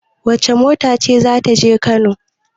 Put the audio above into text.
Wace mota ce za ta je Kano?